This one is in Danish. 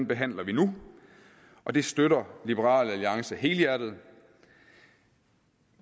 behandler vi nu og det støtter liberal alliance helhjertet